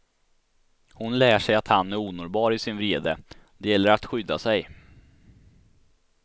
Hon lär sig att han är onåbar i sin vrede, det gäller att skydda sig.